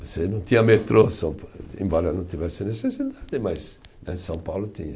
Você não tinha metrô, São Pa, embora não tivesse necessidade, mas né, São Paulo tinha.